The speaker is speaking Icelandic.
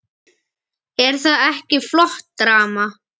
Er það ekki flott drama?